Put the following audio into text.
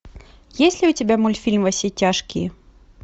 есть ли у тебя мультфильм во все тяжкие